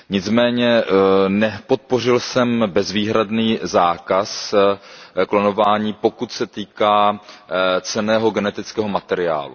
Nicméně nepodpořil jsem bezvýhradný zákaz klonování, pokud se týká cenného genetického materiálu.